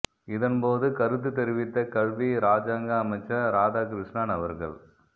இதன் போது கருத்து தெரிவித்த கல்வி இராஜாங்க அமைச்சர் இராதாகிருஸ்ணன் அவர்கள்